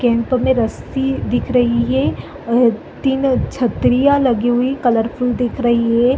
--Camp में रसी दिख रही है और तीनो छतरियाँ लगी हुई कलर फुल दिख रही है।